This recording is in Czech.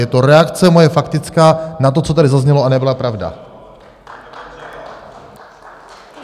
Je to reakce moje faktická na to, co tady zaznělo a nebyla pravda.